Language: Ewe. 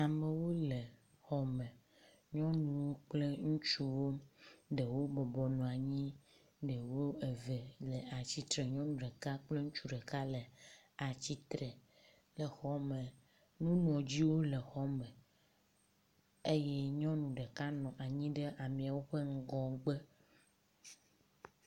Amewo le xɔ me. Nyɔnu kple ŋutsuwo ɖewo bɔbɔ nɔ anyi. Ɖewo eve le atsitre ŋu. Nyɔnu ɖeka kple ŋutsu ɖeka le atsitre le xɔme. Nuŋlɔɖiwo le xɔme eye nyɔnu ɖeka nɔ anyi ɖe amewo ƒe ŋgɔgbe.